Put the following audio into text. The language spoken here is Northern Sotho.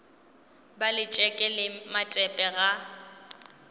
ba letšeke le matepe ga